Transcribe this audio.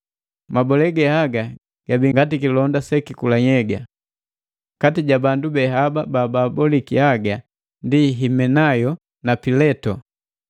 Mabole ge haga ngati kilonda selikula nhyega. Kati ja bandu be haba baboliki haga ni Himenayo na Pileto.